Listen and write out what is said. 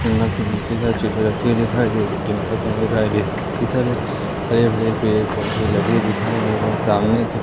single single हरे भरे पेड़ पौधे लगे दिखाई दे रहे हैं सामने की--